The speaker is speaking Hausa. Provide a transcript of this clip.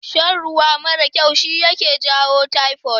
Shan ruwa marar kyau shi yaje jawo taifod